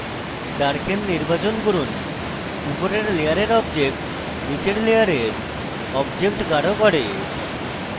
darken নির্বাচন করুন উপরের layer objects নীচের layer objects গাঢ় করে